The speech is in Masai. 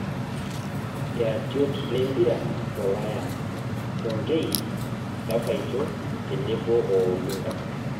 Iratiot lempira tolaya; Tonkei, Kapaito tenebo o Olunga.